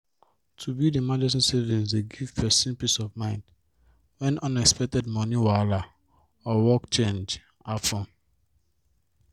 to build emergency savings dey give penrson peace of mind when unexpected moni wahala or work change happen